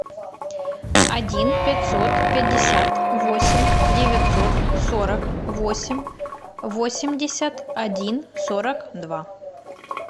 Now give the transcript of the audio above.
один пятьсот пятьдесят восемь девятьсот сорок восемь восемьдесят один сорок два